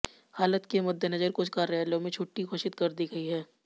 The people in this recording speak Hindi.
हालत के मद्देनजर कुछ कार्यालयों में छुट्टी घोषित कर दी गई है